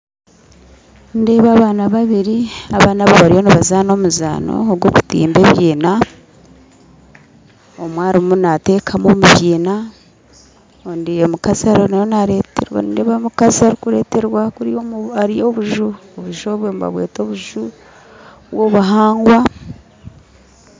Nindeeba abaana babiri abaana abo bariyo nibazaana omuzaano ogwokutimba ebiina omwe arumu natekamu omubyina omukazi ariho nindeeba omukazi arukureterwa kuriya hariyo obuju obuju obwe nibabweta obuju bwobuhangwa.